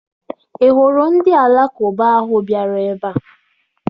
Ị hụrụ ndị Alakụba ahụ bịara ebe a?